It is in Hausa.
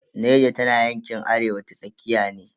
Niger tana yankin arewa ta tsakiya ne.